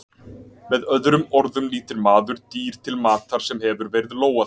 Með öðrum orðum nýtir maður dýr til matar sem hefur verið lógað?